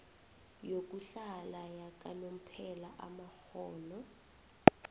yokuhlala yakanomphela amakghono